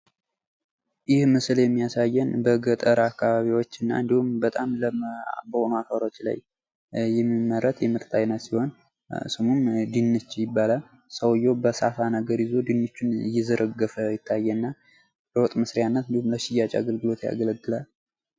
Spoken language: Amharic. ይህ ምስል የሚያሳየን በገጠር አካባቢዎችንና እንዲሁም በጣም ለም በሆኑ አፈሮች ላይ የሚመረት የምርት አይነት ሲሆን ስሙም ድንች ይባላል። ሰውየው በሳፋ ነገር ይዞ ድንቹን እየዘረገፈ ይታየናል። ለወጥ መስሪያና እንዲሁም ለሽያጭ አገልግሎት ያገለግላል።